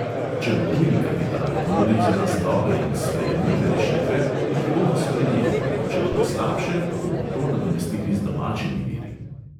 Če bo tuji kapital ponudil za nas dobre in sprejemljive rešitve, jih bomo sprejeli, če bodo slabše, pa bomo to nadomestili z domačimi viri.